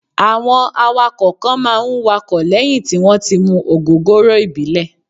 Àwọn awakọ̀ kan máa ń wakọ̀ lẹ́yìn tí wón ti mu ògógóró ìbílẹ̀.